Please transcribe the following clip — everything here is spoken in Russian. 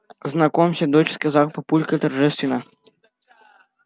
знакомься дочь сказал папулька торжественно